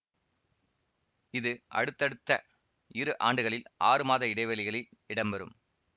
இது அடுத்தடுத்த இரு ஆண்டுகளில் ஆறு மாத இடைவெளிகளில் இடம்பெறும்